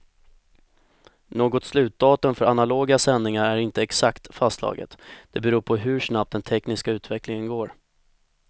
Något slutdatum för analoga sändningar är inte exakt fastslaget, det beror på hur snabbt den tekniska utvecklingen går.